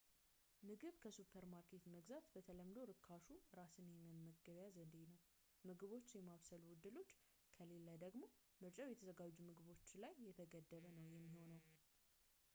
ምግብ ከሱፐርማርኬት መግዛት በተለምዶ ርካሹ እራስን የመመገቢያ ዘዴ ነው ምግቦችን የማብሰሉ እድሎች ከሌለ ደግሞ ምርጫው የተዘጋጁ ምግቦች ላይ የተገደበ ነው የሚሆነው